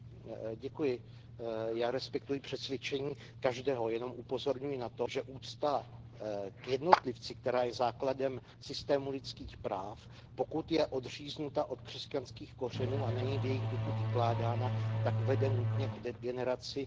Já respektuji přesvědčení každého, jen upozorňuji na to, že úcta k jednotlivci, která je základem lidských práv, pokud je odříznuta od křesťanských kořenů a není v jejich duchu vykládána, tak vede nutně k degeneraci a ono už se to děje.